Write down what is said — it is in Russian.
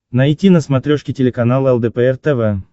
найти на смотрешке телеканал лдпр тв